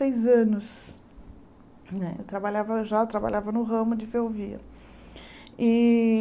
anos né eu trabalhava eu já trabalhava no ramo de ferrovia. E